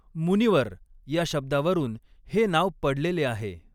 मुनिवर या शब्दावरून हे नाव पडलेले आहे.